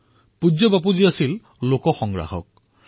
পূজ্য বাপু লোক সংগ্ৰাহক আছিল